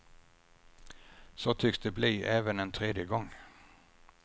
Så tycks det bli även en tredje gång.